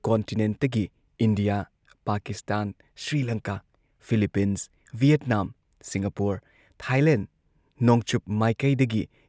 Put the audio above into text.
ꯀꯣꯟꯇꯤꯅꯦꯟꯠꯇꯒꯤ India, Pakistan, Sri Lanka, Philippines, Vietnam, Singapore, Thailand, ꯅꯣꯡꯆꯨꯞ ꯃꯥꯏꯀꯩꯗꯒꯤ